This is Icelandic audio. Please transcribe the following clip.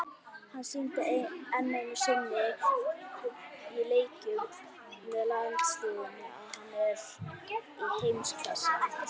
Hann sýndi enn einu sinni í leikjum með landsliðinu að hann er í heimsklassa.